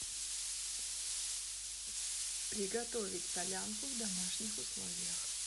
приготовить солянку в домашних условиях